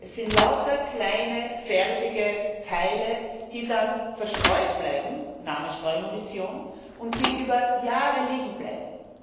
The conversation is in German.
Es sind lauter kleine, farbige Teile, die dann verstreut bleiben daher der Name Streumunition und die über Jahre hinweg liegenbleiben.